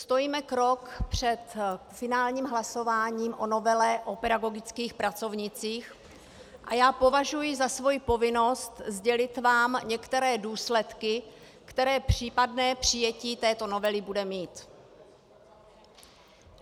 Stojíme krok před finálním hlasováním o novele o pedagogických pracovnících a já považuji za svoji povinnost sdělit vám některé důsledky, které případné přijetí této novely bude mít.